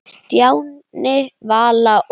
Stjáni, Vala og